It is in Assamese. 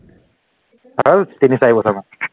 তিনি চাৰি বছৰমান